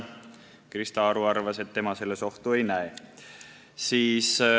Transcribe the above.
Krista Aru arvas, et tema selles ohtu ei näe.